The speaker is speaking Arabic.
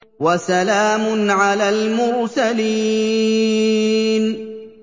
وَسَلَامٌ عَلَى الْمُرْسَلِينَ